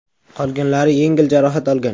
Qolganlar yengil jarohat olgan.